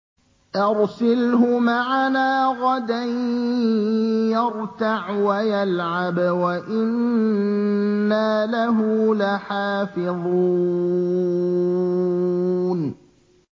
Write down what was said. أَرْسِلْهُ مَعَنَا غَدًا يَرْتَعْ وَيَلْعَبْ وَإِنَّا لَهُ لَحَافِظُونَ